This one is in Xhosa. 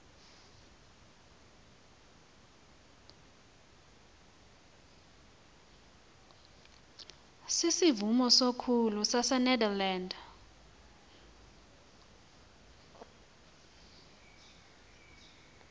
sisivumo sokholo sasenederland